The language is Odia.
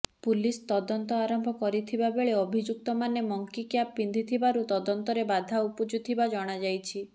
ପୁଲିସ୍ ତଦନ୍ତ ଆରମ୍ଭ କରିଥିବା ବେଳେ ଅଭିଯୁକ୍ତମାନେ ମଙ୍କି କ୍ୟାପ୍ ପିନ୍ଧିଥିବାରୁ ତଦନ୍ତରେ ବାଧା ଉପୁଜୁଥିବା ଜଣାଯାଇଛି